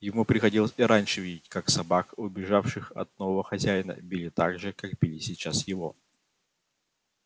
ему приходилось и раньше видеть как собак убежавших от нового хозяина били так же как били сейчас его